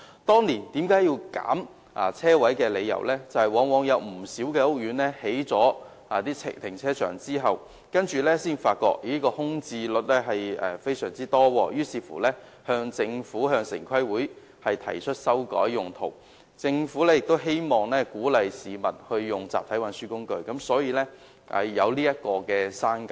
當年削減車位的理由是，不少屋苑興建停車場後才發現空置率非常高，於是向政府和城市規劃委員會提出修改用途，而政府亦希望鼓勵市民使用集體運輸工具，所以作出刪減。